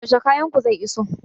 Yaushe kayan ku zai iso?